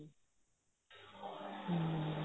ਹਮ